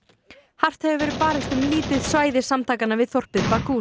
hart hefur verið barist um lítið svæði samtakanna við þorpið